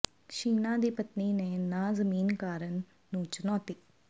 ਛੀਨਾ ਦੀ ਪਤਨੀ ਦੇ ਨਾਂਅ ਜ਼ਮੀਨ ਕਰਨ ਨੂੰ ਚੁਣੌਤੀ